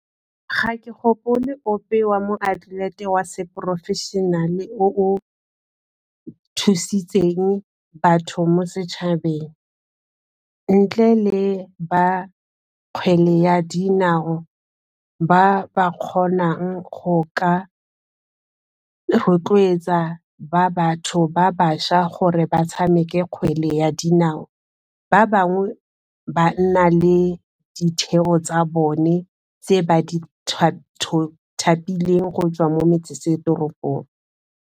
Ga ke gopole ope wa moatlelete wa seporofešenale o o thusitseng batho mo setšhabeng, ntle le ba kgwele ya dinao ba ba kgonang go ka rotloetsa ba batho ba bašwa gore ba tshameke kgwele ya dinao ba bangwe ba nna le ditheo tsa bone tse ba di thapileng go tswa mo metsesetoropong.